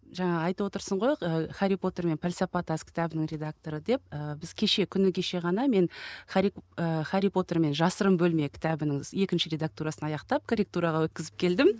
жаңа айтып отырсың ғой ы хәрри потер мен пәлсапа тас кітабының редакторы деп ы біз кеше күні кеше ғана мен хәрри потермен жасырын бөлме кітабының екінші редактурасын аяқтап корретураға өткізіп келдім